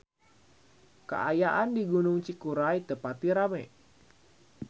Kaayaan di Gunung Cikuray teu pati rame